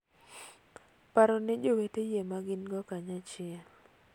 Paro ne jowete yie magin go kanachiel.